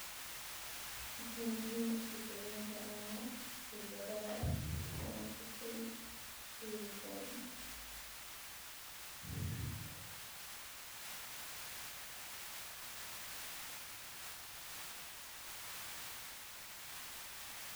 Maxee yihin shekoyinka ama qebrada aa ku arkeyso halkan suasha waa sithas.